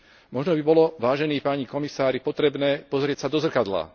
Možno by bolo, vážení páni komisári, potrebné pozrieť sa do zrkadla.